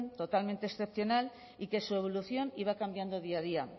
totalmente excepcional y que su evolución iba cambiando día a día